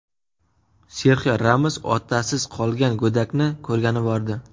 Serxio Ramos otasiz qolgan go‘dakni ko‘rgani bordi.